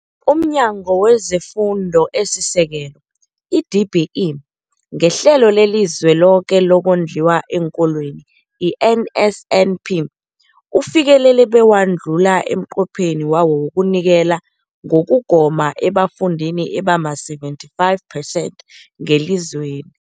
UmNyango wezeFundo esiSekelo, i-DBE, ngeHlelo leliZweloke lokoNdliwa eenKolweni, i-NSNP, ufikelele bewadlula umnqopho wawo wokunikela ngokugoma ebafundini abama-75 percent ngelizweni.